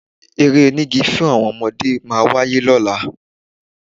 Eré onígi fún àwọn ọmọdé máa wáyé lọ́la